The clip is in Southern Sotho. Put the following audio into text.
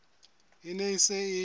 e ne e se e